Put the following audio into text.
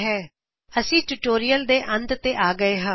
ਹੁਣ ਅਸੀ ਟਿਯੂਟੋਰਿਅਲ ਨੂੰ ਅੰਤ ਤੇ ਆ ਗਏ ਹਾ